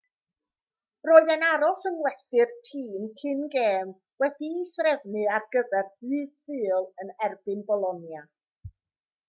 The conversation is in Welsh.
roedd e'n aros yng ngwesty'r tîm cyn gêm wedi'i threfnu ar gyfer dydd sul yn erbyn bolonia